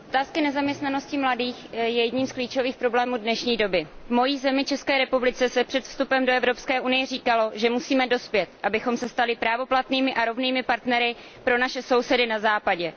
Pane předsedající, otázka nezaměstnanosti mladých je jedním z klíčových problémů dnešní doby. V mé zemi, České republice, se před vstupem do Evropské unie říkalo, že musíme dospět, abychom se stali právoplatnými a rovnými partnery pro naše sousedy na Západě.